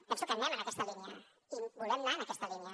penso que anem en aquesta línia i volem anar en aquesta línia